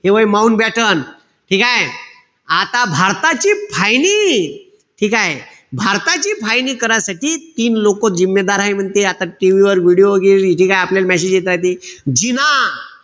Mountbatten. ठीकेय? आता भारताची फायनी, ठीकेय? भारताची फायनी करायसाठी तीन लोकं आहे म्हणते. आता TV वर video वैगेरे ठीकेय? आपल्याला message येताय ते, जिना,